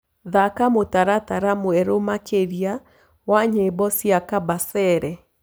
thaka mũtaratara mwerũ makĩrĩa wa nyĩmbo cĩa kabasele